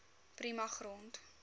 prima grond